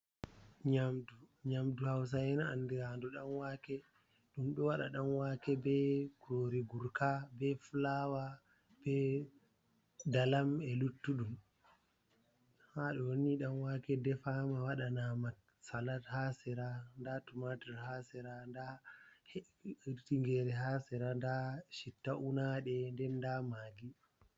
Nyaamdu hawsa'en anndiraandu ɗan wake. Ɗum waɗa ɗan wake bee kuroori gurka bee fulawa bee dalam e luttuɗum. Haa ɗo'o nihi ɗan wake defaama waɗanaama salat haa sera ndaa tumatur haa sera nda tingeere haa sera ndaa citta unaaɗe nden ndaa maggi.